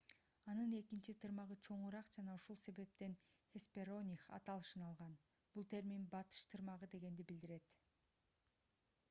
анын экинчи тырмагы чоңураак жана ушул себептен хеспероних аталышын алган бул термин батыш тырмак дегенди билдирет